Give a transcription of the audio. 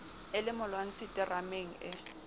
e le molwantshi terameng ee